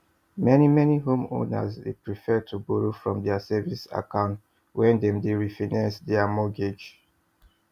meni meni homeowners dey prefer to borrow from dia savings account wen dem dey refinance dia mortgages